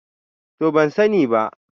To ban sani ba.